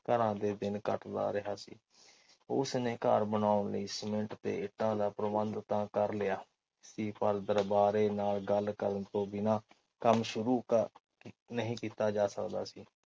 ਘਰਾਂ ਦੇ ਦਿਨ ਕੱਟਦਾ ਰਿਹਾ ਉਸਨੇ ਘਰ ਬਨਾਓਣ ਲਈ ਸੀਮਿੰਟ ਤੇ ਇੱਟਾਂ ਦਾ ਪ੍ਰਬੰਧ ਤਾ ਕਰ ਲਿਆ ਕੀ ਪਰ ਦਰਬਾਰੇ ਨਾਲ ਗੱਲ ਕਰਨ ਤੋਂ ਬਿਨ੍ਹਾਂ ਕੰਮ ਸ਼ੁਰੂ ਨਹੀਂ ਕੀਤਾ ਜਾ ਸਕਦਾ ਸੀ।